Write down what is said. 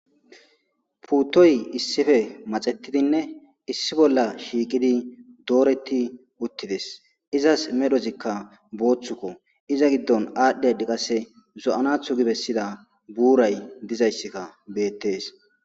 Puutoy issife maxetidinne issi bolla shiiqidi dooreti uttides izas medhozikka booththukko iza giddon aadhdhi adi qasse zo'anathu gi bessida buuray dizayssikka beettees